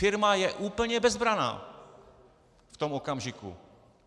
Firma je úplně bezbranná v tom okamžiku.